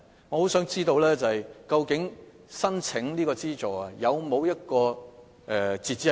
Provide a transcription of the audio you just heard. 我很想知道，究竟捐款申請有沒有截止日期？